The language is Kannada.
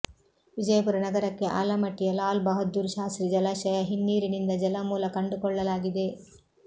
ವಿಜಯಪುರ ನಗರಕ್ಕೆ ಆಲಮಟ್ಟಿಯ ಲಾಲ್ ಬಹಾದ್ದೂರ್ ಶಾಸ್ತ್ರಿ ಜಲಾಶಯ ಹಿನ್ನೀರಿನಿಂದ ಜಲಮೂಲ ಕಂಡುಕೊಳ್ಳಲಾಗಿದೆ